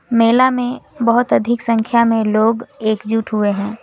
मेला में बहोत अधिक संख्या में लोग एकजुट हुए हैं।